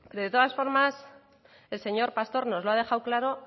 de todas formas el señor pastor nos lo ha dejado claro